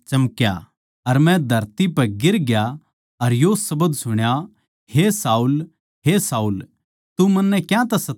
अर मै धरती पै गिर ग्या अर यो शब्द सुण्या हे शाऊल हे शाऊल तू मन्नै क्यांतै सतावै सै